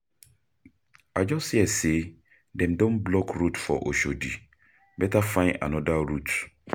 I just hear say dem don block road for Oshodi, better find another route.